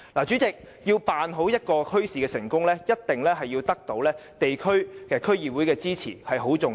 主席，要成功辦好一個墟市，必須得到地區和區議會的支持，這一點十分重要。